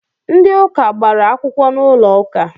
Ndi ụka gbara akwụkwọ n'ụlọ uka